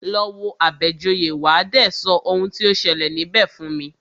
Lọ wo Àbẹ̀joyè, wà á dé sọ oun tí o ṣẹlẹ̀ níbẹ̀ fún mi!